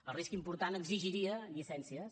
el risc important exigiria llicències